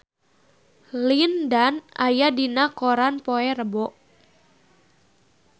Lin Dan aya dina koran poe Rebo